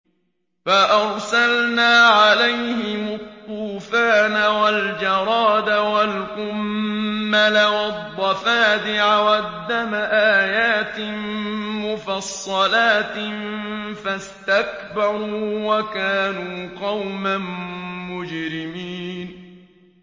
فَأَرْسَلْنَا عَلَيْهِمُ الطُّوفَانَ وَالْجَرَادَ وَالْقُمَّلَ وَالضَّفَادِعَ وَالدَّمَ آيَاتٍ مُّفَصَّلَاتٍ فَاسْتَكْبَرُوا وَكَانُوا قَوْمًا مُّجْرِمِينَ